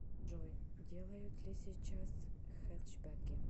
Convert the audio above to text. джой делают ли сейчас хэтчбеки